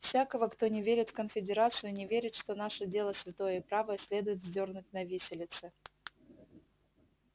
всякого кто не верит в конфедерацию не верит что наше дело святое и правое следует вздёрнуть на виселице